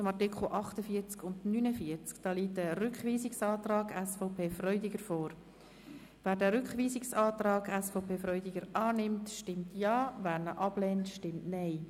Wer den Rückweisungsantrag SVP/Freudiger annimmt, stimmt Ja, wer diesen ablehnt, stimmt Nein.